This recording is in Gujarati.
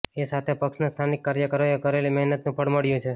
એ સાથે પક્ષના સ્થાનિક કાર્યકરોએ કરેલી મહેનતનું ફળ મળ્યું છે